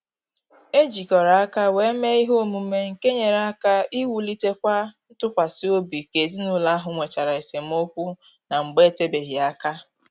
E jikọrọ aka wee mee ihe omume nke nyere aka wulitekwa ntụkwasị obi ka ezinụlọ ahụ nwechara esemokwu na mgbe etebeghị aka